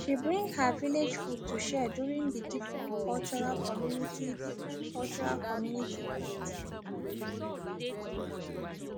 she bring her village food to share during the different cultural community different cultural community part